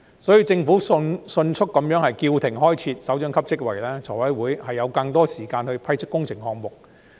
所以，政府迅速叫停開設首長級職位，財委會便有更多時間審批工程項目。